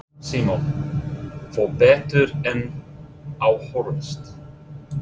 Símon: Fór betur en á horfðist?